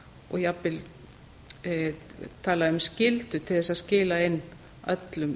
og jafnvel tala um skyldu til þess að skila inn öllum